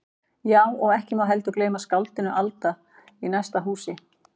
Já, og ekki má heldur gleyma skáldinu aldna í næsta húsi.